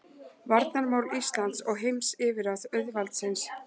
Varnarmál Íslands og heimsyfirráð auðvaldsins.